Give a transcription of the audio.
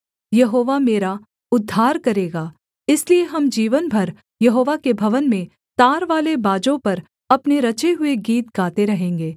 यहोवा मेरा उद्धार करेगा इसलिए हम जीवन भर यहोवा के भवन में तारवाले बाजों पर अपने रचे हुए गीत गाते रहेंगे